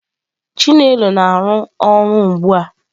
chinelo na-arụ ọrụ ugbu a.